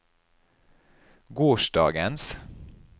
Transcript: gårsdagens